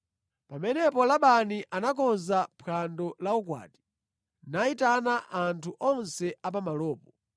Pamenepo Labani anakonza phwando la ukwati, nayitana anthu onse a pamalopo.